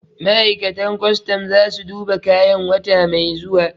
Ma'aikatan kwastam za su duba kayan wata mai zuwa